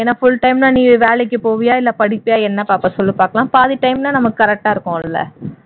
ஏன்னா full time னா நீ வேலைக்கு போவியா படிப்பியா என்ன பாப்ப சொல்லு பாக்கலாம் பாதி time னா நமக்கு correct டா இருக்கும் இல்ல